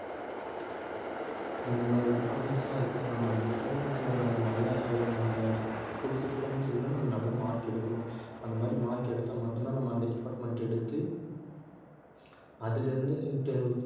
இந்த மாதிரி departments லாம் இருக்கு நம்ம அந்த departments ல நம்ம நல்ல இது நம்ம புடிச்ச departments எடுக்கணும்னா நம்ம நல்ல mark எடுக்கணும் அந்த மாதிரி mark எடுத்தா மட்டும் தான் நாம அந்த department எடுத்து அதுல இருந்து